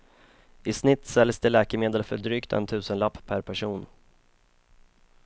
I snitt säljs det läkemedel för drygt en tusenlapp per person.